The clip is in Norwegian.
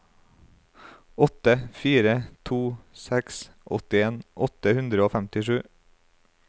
åtte fire to seks åttien åtte hundre og femtisju